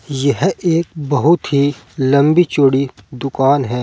यह एक बहोत ही लंबी चौड़ी दुकान है।